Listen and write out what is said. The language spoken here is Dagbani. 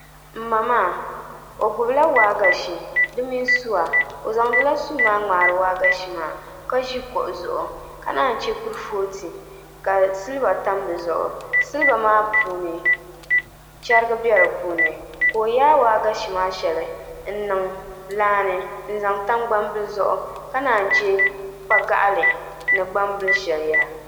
N ma maa o gbubila waagashe di mini suwa o zaŋ dila suu maa ŋmaari waagashe maa ka ʒi kuɣu zuɣu ka naan chɛ kurifooti ka silba tam di zuɣu silba maa puuni chɛrigi bɛni ka o yaa waagashe maa shɛli n niŋ laa ni n zaŋ tam gbambili zuɣu ka naan chɛ kpa gaɣali ni gbambili shɛli yaha